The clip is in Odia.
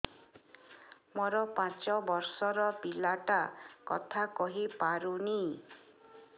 ମୋର ପାଞ୍ଚ ଵର୍ଷ ର ପିଲା ଟା କଥା କହି ପାରୁନି